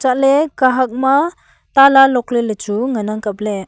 chatley kahak ma tala lock ley lechu ngan ang kapley.